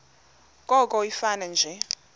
koko ifane nje